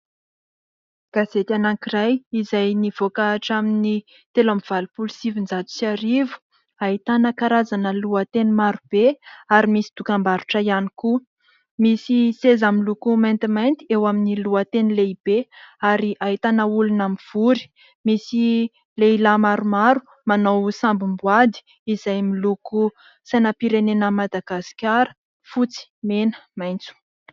Gazety anankiray izay nivoaka hatramin'ny telo amby valopolo sy sivinjato sy arivo. Ahitana karzana lohateny maro be ary misy dokam-barotra ihany koa. Misy seza miloko maintimainty eo amin'ny lohateny lehibe ary ahitana olona mivory. Misy lehilahy maromaro manao samboady izay miloko sainam-pirenena an'i Madagasikara : fotsy, mena, maitso.